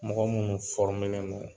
Mɔgɔ minnu len don